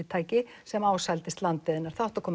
prívatorkufyrirtæki sem landið hennar það átti að koma